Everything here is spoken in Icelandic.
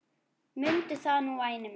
Mundu það nú væni minn.